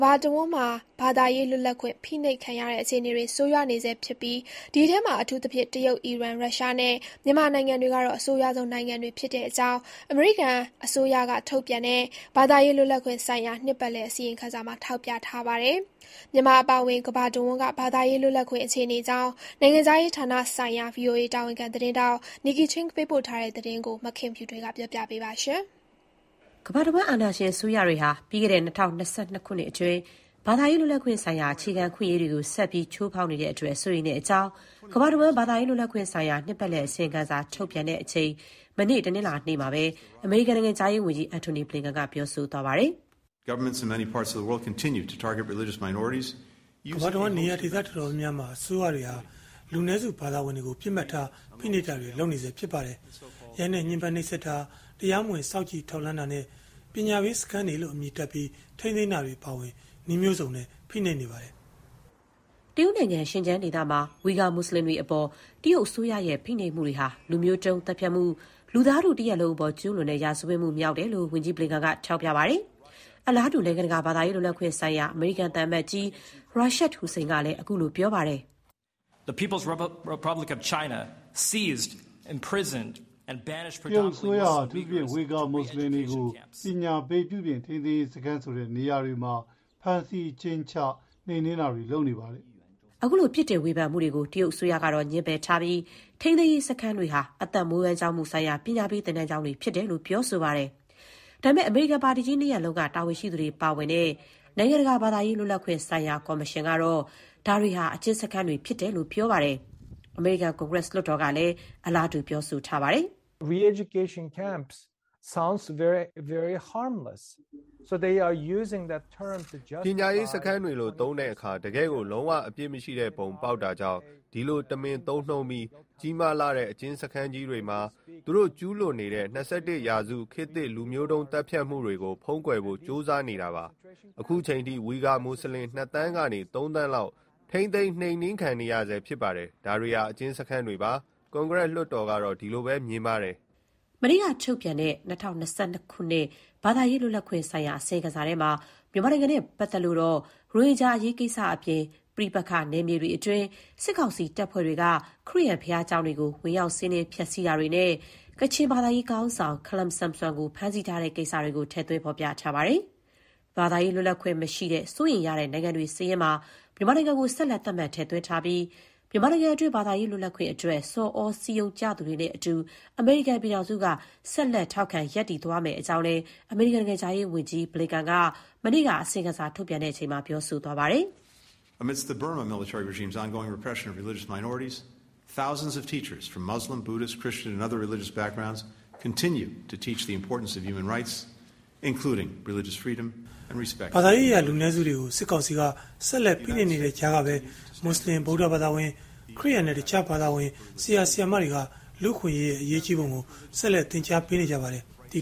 ဘာတဝန်း ဘာသာရေးလွတ်လပ်ခွင့် ဖိနှိပ်ခံရတဲ့ အခြေအနေတွေ ဆိုးရွားနေဆဲ ဖြစ်ပြီး ဒီအထဲမှာ အထူးသဖြင့် တရုတ်၊ အီရန်၊ ရုရှားနဲ့ မြန်မာနိုင်ငံတွေ ကတော့ အဆိုးရွားဆုံး နိုင်ငံတွေ ဖြစ်တဲ့အကြောင်း အနေရိကန်အစိုးရက ထုတ်ပြန်တဲ့ ဘာသာရေး လွတ်လပ်ခွင့်ဆိုင်ရာ နှစ်ပတ်လည် အစီရင်ခံစာမှာ ထောက်ပြထားပါတယ်။ မြန်မာ အပါအဝင် ကမ္ဘာတဝန်းက ဘာသာရေး လွတ်လပ်ခွင့် အခြေအနေအကြောင်း နိုင်ငံခြားရေးဌာနဆိုင်ရာ ဗွီအိုအေ တာဝန်ခံ သတင်းထောက် Nike Ching ပေးပို့တဲ့သတင်းကို မခင်ဖြူထွေးက တင်ပြထားပါတယ်။ ကမ္ဘာတဝန်း အာဏာရှင်အစိုးရတွေဟာ ပြီးခဲ့တဲ့ ၂၀၂၂ ခုနှစ်အတွင်း ဘာသာရေးလွတ်လပ်ခွင့်ဆိုင်ရာ အခြေခံ အခွင့်အရေးတွေကို ဆက်ပြီး ချိုးဖောက်နေခဲ့တဲ့အပေါ် စိုးရိမ်တဲ့အကြောင်း ကမ္ဘာတဝန်း ဘာသာရေး လွတ်လပ်ခွင့်ဆိုင်ရာ နှစ်ပတ်လည် အစီရင်ခံစာ ထုတ်ပြန်တဲ့အချိန် မနေ့ တနင်္လာနေ့မှာပဲ အမေရိကန်နိုင်ငံခြားရေးဝန်ကြီး Antony Blinken က ပြောဆိုသွားပါတယ်။ “ကမ္ဘာတဝန်း နေရာဒေသ အတော်များများမှာ အစိုးရတွေဟာ လူနည်းစု ဘာသာဝင်တွေကို ပစ်မှတ်ထား ဖိနှိပ်တာတွေ ဆက်လုပ်နေဆဲ ဖြစ်ပါတယ်။ ရိုက်နှက် ညှင်းပမ်းနှိပ်စက်တာ၊ တရားမဝင် စောင့်ကြည့်ထောက်လှမ်းတာ နဲ့ ပညာပေး စခန်းတွေလို့ အမည်တပ်ပြီး ထိန်းသိမ်းတာတွေ အပါအဝင် နည်းမျိုးစုံနဲ့ ဖိနှိပ်နေကြပါတယ်။” တရုတ် Xinjiang ဒေသမှာ Uyghurs မွတ်ဆလင်တွေအပေါ် တရုတ်အစိုးရရဲ့ ဖိနှိပ်မှုတွေဟာ လူမျိုးတုံး သတ်ဖြတ်မှု၊ လူသားထုတရပ်လုံး အပေါ် ကျူးလွန်တဲ့ ရာဇဝတ်မှု မြောက်တယ်လို့ ဝန်ကြီး ဘလင်ကန်က ထောက်ပြပါတယ်။ အလားတူ နိုင်ငံတကာ ဘာသာရေးလွတ်လပ်ခွင့်ဆိုင်ရာ အမေရိကန်သံအမတ်ကြီး Rashad Hussain ကလည်း ခုလို ပြောပါတယ်။ “တရုတ်အစိုးရဟာ အထူးသဖြင့် ဝီဂါ မွတ်ဆလင်တွေကို ပညာပေး ထိန်းသိမ်းရေးစခန်းတွေမှာ ဖမ်းဆီး၊ အကျဉ်းချ၊ နှိမ်နှင်းတာတွေ လုပ်နေပါတယ်။” ခုလို ပြစ်တင်ဝေဖန်မှုတွေကို တရုတ်အစိုးရကတော့ ငြင်းပယ်ထားပြီး ထိန်းသိမ်းရေး စခန်းတွေဟာ အသက်မွေးဝမ်းကြောင်း မှုဆိုင်ရာ ပညာပေး သင်တန်းကျောင်းတွေ ဖြစ်တယ်လို့ ပြောဆိုပါတယ်။ ဒါပေမဲ့ အမေရိကန် ပါတီကြီးနှစ်ရပ်လုံးက တာဝန်ရှိသူတွေ ပါဝင်တဲ့ နိုင်ငံတကာ ဘာသာရေးလွတ်လပ်ခွင့်ဆိုင်ရာ ကော်မရှင် ကတော့ ဒါတွေဟာ အကျဉ်းစခန်းတွေလို့ ပြောပါတယ်။ အမေရိကန် ကွန်ဂရက် လွှတ်တော်ကလည်း အလားတူ ပြောဆိုပါတယ်။ “ပညာရေးစခန်းတွေလို့ သုံးတဲ့အခါ တကယ်ကို လုံး၀ အပြစ်မရှိပုံ ပေါက်တာကြောင့် ဒီလို တမင်သုံးနှုန်းပြီး ကြီးမားလှတဲ့ အကျဉ်းစခန်းကြီးတွေမှာ သူတို့ ကျူးလွန်နေတဲ့ ၂၁ ရာစု ခေတ်သစ် လူမျိုးတုံး သတ်ဖြတ်မှုတွေကို ဖုံးကွယ်ဖို့ ကြိုးစားနေတာပါ။ ခုချိန်အထိ ဝီဂါ မွတ်ဆလင် ၂ သန်းကနေ ၃ သန်းလောက် ထိန်းသိမ်း နှိမ်းနင်းခံနေရဆဲ ဖြစ်ပါတယ်။ ဒါတွေဟာ အကျဉ်းစခန်းတွေပါ။ ကွန်ဂရက်လွှတ်တော် ကတော့ ဒီလိုပဲ မြင်ပါတယ်။” မနေ့က ထုတ်ပြန်တဲ့ ၂၀၂၂ ခုနှစ် ဘာသာရေး လွတ်လပ်ခွင့် အစီရင်ခံစာထဲမှာ မြန်မာနိုင်ငံနဲ့ပတ်သက်လို့တော့ ရိုဟင်ဂျာအရေး ကိစ္စအပြင် ပဋိပက္ခနယ်မြေတွင်း စစ်ကောင်စီတပ်တွေက ခရစ်ယာန်ဘုရားကျောင်းတွေကို ဝင်ရောက် စီးနင်းဖျက်ဆီးမှုတွေနဲ့ ကချင်ဘာသာရေး ခေါင်းဆောင် ခလမ်ဆမ်ဆွန်ကို ဖမ်းဆီးထားတဲ့ ကိစ္စတွေ ထည့်သွင်းထားပါတယ်။ ဘာသာရေးလွတ်လပ်ခွင့် မရှိတဲ့ စိုးရိမ်ရတဲ့နိုင်ငံတွေ စာရင်းမှာ မြန်မာနိုင်ငံကို ဆက်လက် သတ်မှတ် ထည့်သွင်းထားပြီး မြန်မာနိုင်ငံအတွင်း ဘာသာရေးလွတ်လပ်ခွင့်အတွက် ဆော်သြစည်းရုံးကြသူတွေနဲ့အတူ အမေရိကန်ပြည်ထောင်စုက ဆက်လက် ထောက်ခံသွားမယ်လို့ အမေရိကန်နိုင်ငံခြားရေးဝန်ကြီးက မနေ့က အစီရင်ခံစာ ထုတ်ပြန်ချိန်မှာ ပြောဆိုပါတယ်။ “ဘာသာရေးအရ လူနည်းစုတွေကို စစ်ကောင်စီက ဆက်လက်ဖိနှိပ်နေတဲ့ကြားကပဲ မွတ်ဆလင်၊ ဗုဒ္ဓဘာသာဝင်၊ ခရစ်ယာန်နဲ့ တခြား ဘာသာဝင် ဆရာ ဆရာမတွေက လူ့အခွင့်အရေး အရေးကြီးပုံကို ဆက်လက် သင်ကြားပေးနေကြပါတယ်။ ဒီ